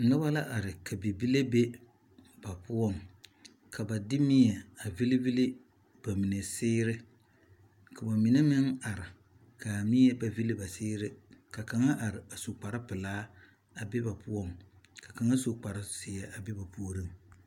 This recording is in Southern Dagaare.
Noba la are ka bibile be ba poɔ, ka ba de mie a vilii vilii ba mine seere ka ba mine meŋ are kaa mie ba villi ba seere ka kaŋ are a su kpare pɛlaa a be ba poɔ, ka kaŋa. su kparre zeɛ a be ba puoriŋ